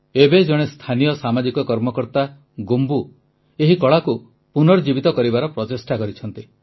ଏବେ ଜଣେ ସ୍ଥାନୀୟ ସାମାଜିକ କର୍ମକର୍ତ୍ତା ଗୋମ୍ବୁ ଏହି କଳାକୁ ପୁନର୍ଜୀବିତ କରିବାର ପ୍ରଚେଷ୍ଟା କରିଛନ୍ତି